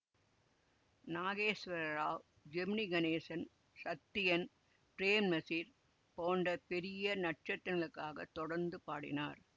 நாகேஸ்வரராவ் ஜெமினி கணேசன் சத்யன் பிரேம்நசீர் போன்ற பெரிய நட்சத்திரங்களுக்காக தொடர்ந்து பாடினார்